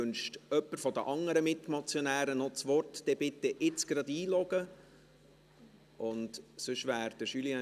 Wünscht jemand von den anderen noch das Wort, dann bitte ich sie, sich jetzt gleich einzuloggen.